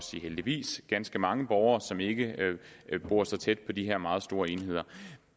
sige heldigvis ganske mange borgere som ikke bor så tæt på de her meget store enheder